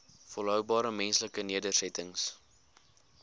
volhoubare menslike nedersettings